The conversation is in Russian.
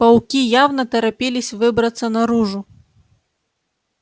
пауки явно торопились выбраться наружу